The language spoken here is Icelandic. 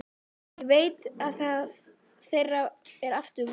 Ég veit að þeirra er aftur von.